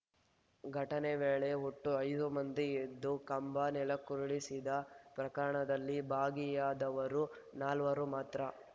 ಘಟನೆ ವೇಳೆ ಒಟ್ಟು ಐದು ಮಂದಿ ಎದ್ದು ಕಂಬ ನೆಲಕ್ಕುರುಳಿಸಿದ ಪ್ರಕರಣದಲ್ಲಿ ಭಾಗಿಯಾದವರು ನಾಲ್ವರು ಮಾತ್ರ